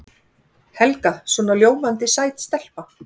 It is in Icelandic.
Helga svona ljómandi sæt stelpa.